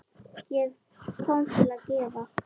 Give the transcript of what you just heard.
Ég kom til að gefa.